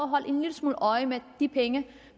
holde en lille smule øje med at de penge